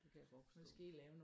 Det kan jeg godt forstå